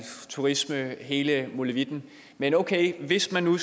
turisme hele molevitten men okay hvis man nu